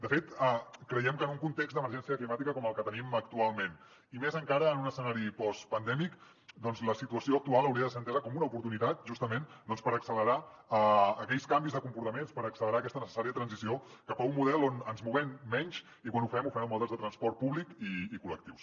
de fet creiem que en un context d’emergència climàtica com el que tenim actualment i més encara en un escenari postpandèmic la situació actual hauria de ser entesa com una oportunitat justament doncs per accelerar aquells canvis de comportaments per accelerar aquesta necessària transició cap a un model on ens moguem menys i quan ho fem ho fem amb mitjans de transport públic i col·lectius